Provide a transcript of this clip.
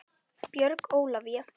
Björg Ólavía.